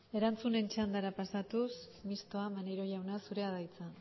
erantzunen txandara pasatuz mistoa maneiro jauna zurea da hitza